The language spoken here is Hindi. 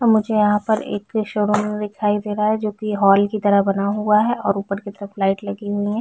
मुझे यहाँ पर एक शोरूम दिखाई दे रहा है जो की हॉल की तरह बना हुआ है और उपर की तरफ लाइट लगी हुई है।